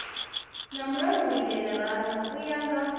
nga mulangulidzhenerala u ya nga